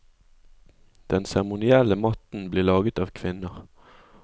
Den seremonielle matten blir laget av kvinner.